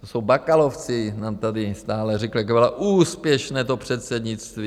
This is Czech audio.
To jsou bakalovci, nám tady stále říkají, jak bylo úspěšné to předsednictví...